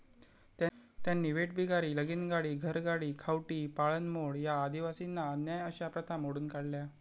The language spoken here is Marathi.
त्यांनी वेठबिगारी, लगिनगाडी, घरगडी, खावटी, पाळणमोड या आदिवासींना अन्याय अशा प्रथा मोडून काढल्या.